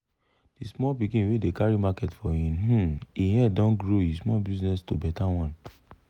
de small pikin wey dey carry market for in um e head don grow e small business to better one.